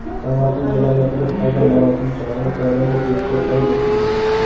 Samarqand viloyatida aza marosimi chog‘ida koronavirus yuqishi qayd etildi.